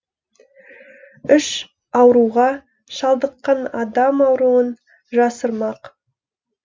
іш ауруға шалдыққан адам ауруын жасырмақ